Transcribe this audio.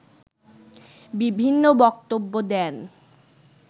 বিভিন্ন বক্তব্য দেন